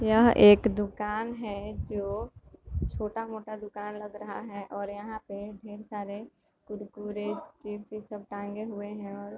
यहां एक दुकान है जो छोटा-मोटा दुकान लग रहा है और यहां पर ढेर सारे कुरकुरे चिप्स ये सब टांगे हुए है और --